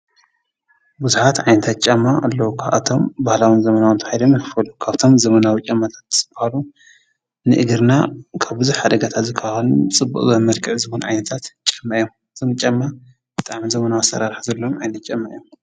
ብዙሓት ዓይነታት ጫማ አለዉ። ካብኣቶም ባህላዊን ዘመናዊን ተባሂሎም ይኽፈሉ። ካብቶም ዘመናዊ ጫማታት ዝበሃሉ ንእግርና ካብ ብዙሕ ሓደጋታት ዝከላኸሉ ፅብቅ ዝበለ መልክዕ ዓይነታት ጫማ እዮም። እቶም ጫማ ብጣዕሚ ዘመናዊ ኣሰራርሓ ዘለዎም ዓይነት ጫማ እዮም።